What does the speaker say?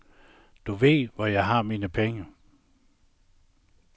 Du ved, hvor jeg har mine penge.